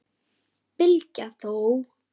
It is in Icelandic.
Bylgja þó!